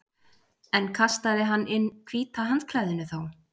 En kastaði hann inn hvíta handklæðinu þá?